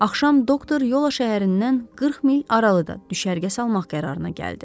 Axşam doktor Yola şəhərindən 40 mil aralıda düşərgə salmaq qərarına gəldi.